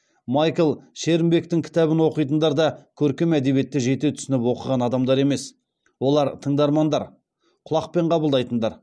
майкл шерімбектің кітабын оқитындар да көркем әдебиетті жете түсініп оқыған адамдар емес олар тыңдармандар құлақпен қабылдайтындар